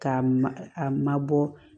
K'a ma a mabɔ